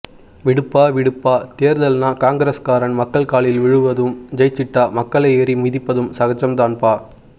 விடுப்பா விடுப்பா தேர்தல்னா காங்கிரஸ்காரன் மக்கள் காலில் விழுவதும் ஜெயிச்சிட்டா மக்களை ஏறி மிதிப்பதும் சகஜம் தான்பா